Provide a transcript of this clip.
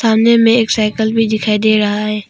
सामने मे एक साइकल भी दिखाई दे रहा है।